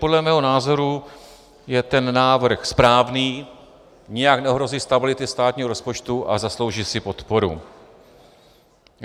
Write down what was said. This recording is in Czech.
Podle mého názoru je ten návrh správný, nijak neohrozí stability státního rozpočtu a zaslouží si podporu.